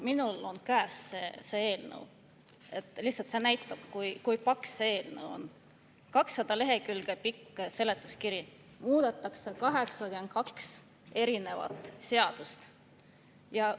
Mul on käes see eelnõu, lihtsalt et näidata, kui paks see eelnõu on: 200 lehekülge on seletuskiri, muudetakse 82 seadust!